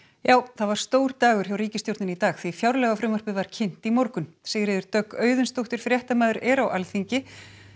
það var stór dagur hjá ríkisstjórninni í dag því fjárlagafrumvarpið var kynnt í morgun Sigríður Dögg Auðunsdóttir fréttamaður er á Alþingi